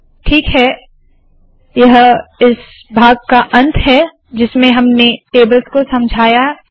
ठीक है यह इस भाग का अंत है जिसमें हमने टेबल्स को समझाया है